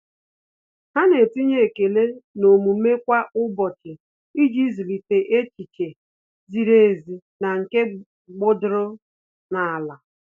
Há nà-etinye ekele n'omume kwa ụ́bọ̀chị̀ iji zụ́líté echiche ziri ezi na nke gbọ́dọ́rọ́ n’álá.